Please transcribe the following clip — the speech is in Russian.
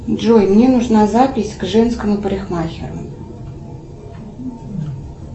джой мне нужна запись к женскому парикмахеру